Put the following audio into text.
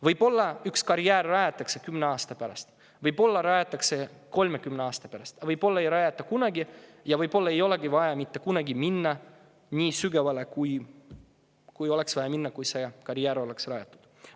Võib-olla rajatakse karjäär 10 aasta pärast, võib-olla 30 aasta pärast, võib-olla ei rajata seda kunagi, aga võib-olla ei olegi vaja mitte kunagi minna nii sügavale, kui oleks vaja minna siis, kui karjääri rajatakse.